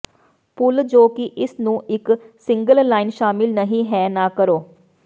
ਭੁੱਲ ਜੋ ਕਿ ਇਸ ਨੂੰ ਇੱਕ ਸਿੰਗਲ ਲਾਈਨ ਸ਼ਾਮਲ ਨਹੀ ਹੈ ਨਾ ਕਰੋ